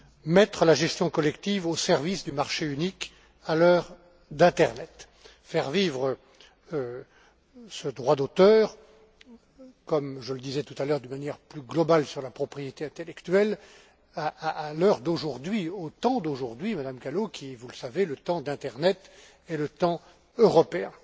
Mettre la gestion collective au service du marché unique à l'heure de l'internet, faire vivre ce droit d'auteur comme je le disais précédemment de manière plus globale sur la propriété intellectuelle à l'heure d'aujourd'hui, au temps d'aujourd'hui, Madame Gallo, qui, vous le savez, est le temps de l'internet et le temps européen.